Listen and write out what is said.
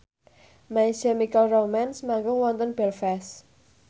My Chemical Romance manggung wonten Belfast